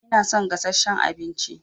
Ina son gasasshen abinci